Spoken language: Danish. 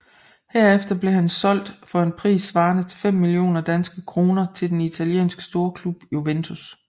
Herefter blev han solgt for en pris svarende til fem millioner danske kroner til den italienske storklub Juventus